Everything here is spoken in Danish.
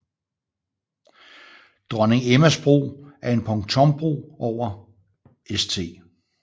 Dronning Emmas Bro er en pontonbro over St